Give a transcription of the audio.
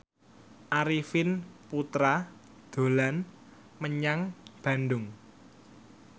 Arifin Putra dolan menyang Bandung